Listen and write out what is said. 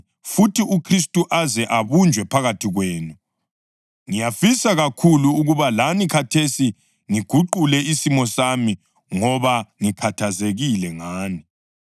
ngiyafisa kakhulu ukuba lani khathesi ngiguqule isimo sami, ngoba ngikhathazekile ngani! UHagari LoSara